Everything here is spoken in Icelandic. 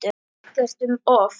Ekkert um of.